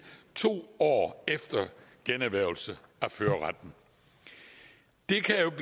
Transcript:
to år efter generhvervelse af førerretten